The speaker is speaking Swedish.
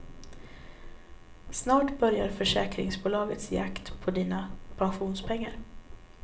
Snart börjar försäkringsbolagens jakt på dina pensionspengar.